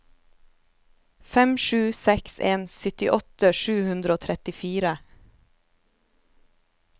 fem sju seks en syttiåtte sju hundre og trettifire